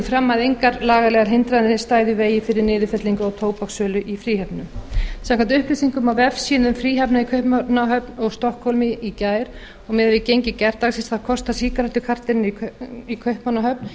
fram að engar lagalegar hindranir stæðu í vegi fyrir niðurfellingu á tóbakssölu í fríhöfnum samkvæmt upplýsingum á vefsíðum fríhafna í kaupmannahöfn og stokkhólmi í gær og miðað við gengi gærdagsins þá kostar sígarettukartonið í kaupmannahöfn